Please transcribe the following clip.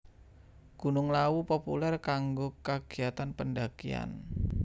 Gunung Lawu populèr kanggo kagiatan pendhakian